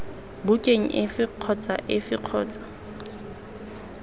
bukeng efe kgotsa efe kgotsa